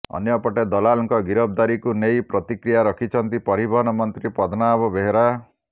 ଅନ୍ୟପଟେ ଦଲାଲଙ୍କ ଗିରଫଦାରୀକୁ ନେଇ ପ୍ରତିକ୍ରିୟା ରଖିଛନ୍ତି ପରିବହନ ମନ୍ତ୍ରୀ ପଦ୍ମନାଭ ବେହେରା